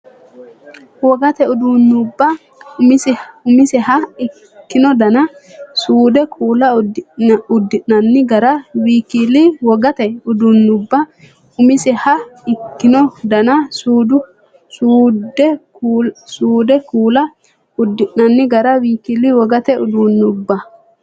Wogate uduunnubba uminsaha ikkino dana, suude, kuula, uddi’nanni gara w k l Wogate uduunnubba uminsaha ikkino dana, suude, kuula, uddi’nanni gara w k l Wogate uduunnubba.